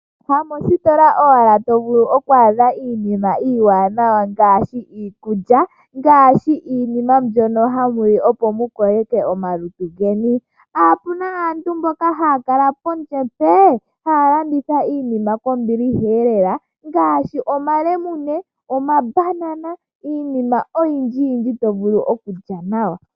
Ha moositola owala to vulu oku adha iinima iiwaanawa ngaashi iikulya, ngaashi iinima mbono hamu li opo mu koleke omalutu geni. Opu na aantu mboka haya kala pondje mpee! Haya landitha iinima kombiliha eelela ngaashi, omalemune, omabanana, niinima oyindji to vulu okulya nawa.